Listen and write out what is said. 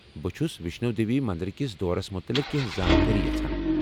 بہٕ چھس ویشنو دیوی مندر کِس دورس مٗتلق کینٛہہ زانٛکٲری یژھان۔